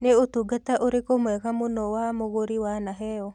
Nĩ ũtungata ũrĩkũ mwega mũno wa mũgũrĩ wanaheo?